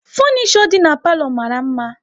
Funisho dị n'palo mara mma